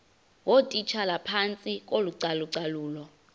ngootitshala phantsi kocalucalulo